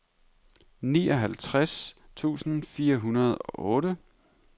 nioghalvtreds tusind fire hundrede og otte